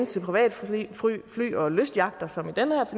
til privatfly og lystyachter som i den